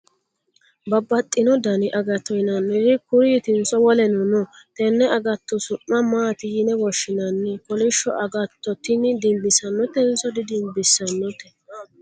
babbaxino dani agatto yinanniri kuriitinso woleno no? tenne agatto su'ma maati yine woshshinanni? kolishsho agatto tini dinbissanotenso di dimbissannote ?